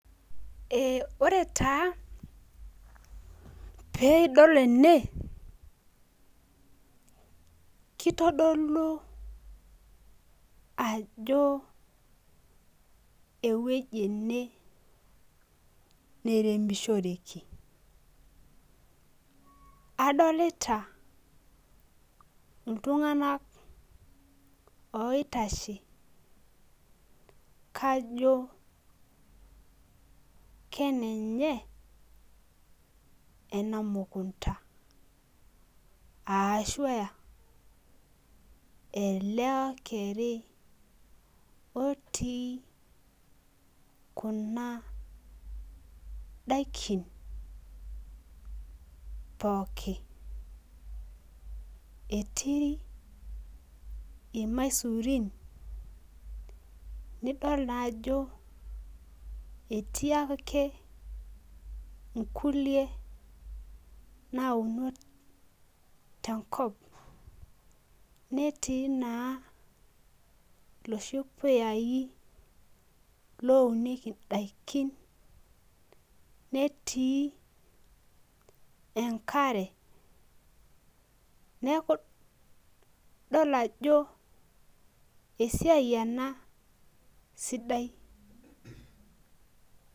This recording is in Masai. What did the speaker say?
Ee ore taa pee idol ene, kitodolu ajo ewueji ene neiremishoreki. adolita iltunganak oitasheki, kajo kenenye ena mukunta ashu aa ele okori otii Kuna daikin, pookin. etii ilamasurin nidol naa ajo, etii ake inkulie nauno tenkop. netii naa iladuoo puyai lotii. netii enkare. neemj idol ajo esiai ena. sidai.